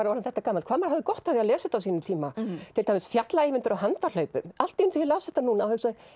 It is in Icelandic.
orðinn þetta gamall hvað maður hafði gott af því að lesa þetta á sínum tíma til dæmis fjalla Eyvindur á handahlaupum allt í einu þegar ég las þetta núna þá